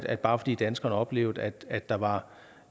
at bare fordi danskerne oplevede at der var